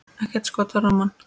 Ekkert skot á rammann?